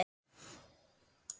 Hvernig förum við að því?